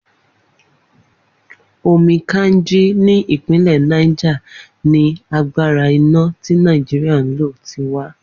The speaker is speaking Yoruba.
Omi Kainji ní ìpínlè̩ Niger ni agbára iná tí Nàìjíríà ń lò ti wá